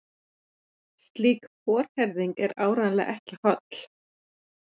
Slík forherðing er áreiðanlega ekki holl.